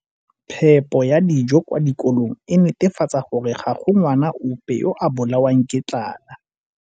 Phepo ya dijo kwa dikolong e netefatsa gore ga go ngwana ope yo a bolawang ke tlala.